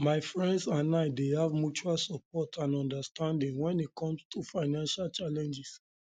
my friends and i dey have mutual support and understanding when it comes to financial challenges